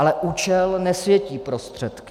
Ale účel nesvětí prostředky.